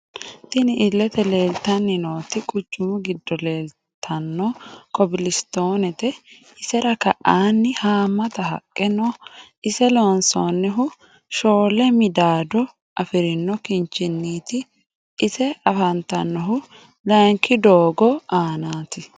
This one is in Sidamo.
Tini iilete leelitanni nooti quchumu giddo leelitano kobilisitonete iserra ka'aani haamata haqqe no ise loonsonihu shoole midaado afirino kinchiniiti ise afantanohu layiinki doogo aanati.